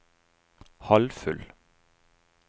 halvfull